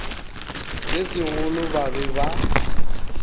se segolo ba be ba